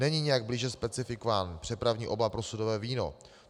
Není nijak blíže specifikován přepravní obal pro sudové víno.